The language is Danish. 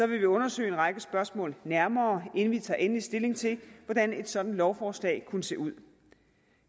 vil vi undersøge en række spørgsmål nærmere inden vi tager endelig stilling til hvordan et sådant lovforslag kunne se ud